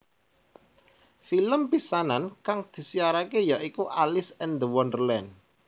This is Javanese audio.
Film pisanan kang disiarake ya iku Alice and The Wonderland